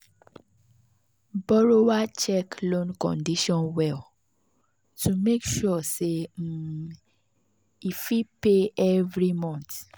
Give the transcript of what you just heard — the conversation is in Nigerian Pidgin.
borrower check loan condition well to make sure say um e fit pay every month.